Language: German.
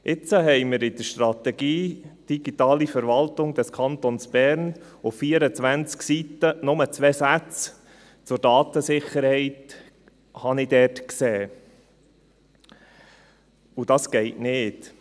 Jetzt habe ich in der Strategie «Digitale Verwaltung des Kantons Bern» auf 24 Seiten nur zwei Sätze zur Datensicherheit gesehen, und das geht nicht.